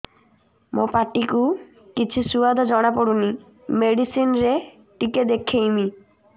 ମୋ ପାଟି କୁ କିଛି ସୁଆଦ ଜଣାପଡ଼ୁନି ମେଡିସିନ ରେ ଟିକେ ଦେଖେଇମି